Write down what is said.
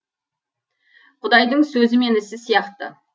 құдайдың сөзі мен ісі сияқты